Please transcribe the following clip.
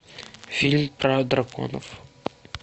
фильм про драконов